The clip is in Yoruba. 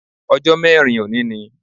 Ọjó mẹ́rin òní ni